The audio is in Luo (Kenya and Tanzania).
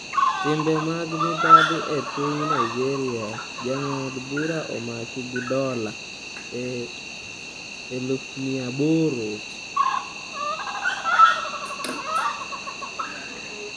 Timbe mag mibadhi e Piny Nigeria: Jang'ad bura omaki gi dola 800,000